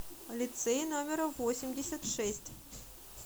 лицей номер восемьдесят шесть